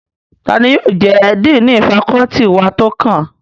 Tani yóò jẹ́ díìnì fakọ́ọ́tì wa tó kàn?